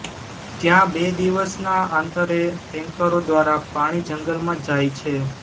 ત્યાં બે દિવસના આંતરે ટેન્કરો દ્વારા પાણી જંગલમાં જાય છે